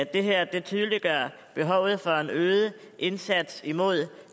det her tydeliggør behovet for en øget indsats imod